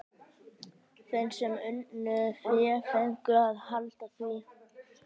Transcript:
Þeir sem unnu fé fengu að halda því.